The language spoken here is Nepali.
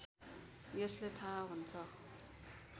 यसले थाहा हुन्छ